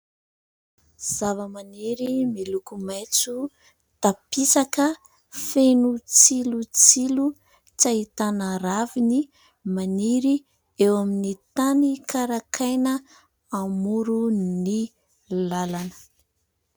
Zavamaniry miloko maitso tampisaka feno tsilotsilo, tsy ahitana raviny maniry, eo amin'ny tany karakaina amorony lalana.